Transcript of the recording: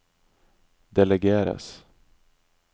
delegeres